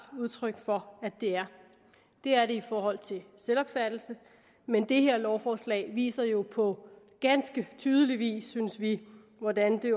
udtryk for at det er det er det i forhold til selvopfattelse men det her lovforslag viser jo på ganske tydelig vis synes vi hvordan det